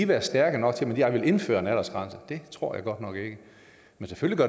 være stærke nok til at jeg vil indføre en aldersgrænse det tror jeg godt nok ikke men selvfølgelig